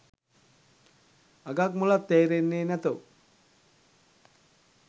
අගක් මුලක් තේරෙන්නෙ නැතෝ